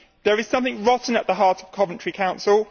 There is something rotten at the heart of Coventry City Council.